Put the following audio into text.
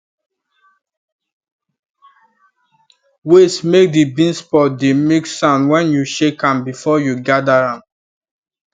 wait make the beans pod dey make sound when you shake am before you gather am